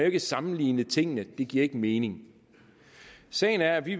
ikke sammenligne tingene det giver ikke mening sagen er at vi